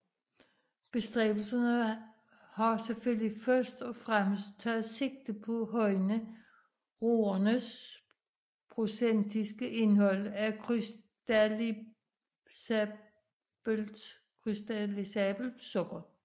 Bestræbelserne har selvfølgelig først og fremmest taget sigte på at højne roernes procentiske indhold af krystallisabelt sukker